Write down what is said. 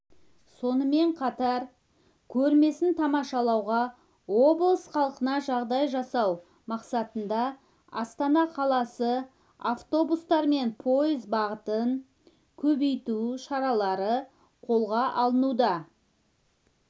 сонымен қатар көрмесін тамашалауға облыс халқына жағдай жасау мақсатында астана қаласына автобустар мен пойыз бағытын көбейту шаралары қолға алынуда